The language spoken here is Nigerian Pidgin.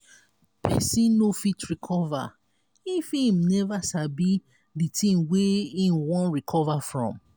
person no go fit recover if im never sabi di thing wey im wan recover from